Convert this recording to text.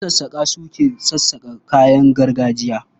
Masassaƙa su ke sassaƙa kayan gargajiya.